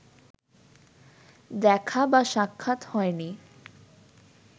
দেখা বা সাক্ষাৎ হয়নি